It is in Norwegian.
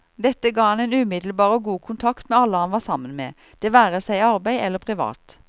Dette ga ham en umiddelbar og god kontakt med alle han var sammen med, det være seg i arbeid eller privat.